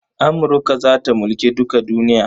Amurka za ta mulki duka duniya.